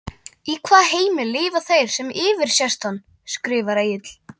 Í hvaða heimi lifa þeir sem yfirsést hann? skrifar Egill.